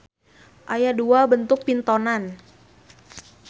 Aya dua bentuk pintonan.